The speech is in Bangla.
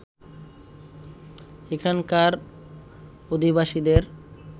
এখানকার অধিবাসীদের